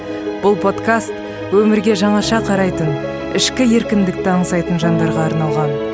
бұл подкаст өмірге жаңаша қарайтын ішкі еркіндікті аңсайтын жандарға арналған